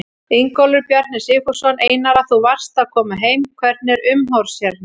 Ingólfur Bjarni Sigfússon: Einara þú varst að koma heim, hvernig er umhorfs hérna?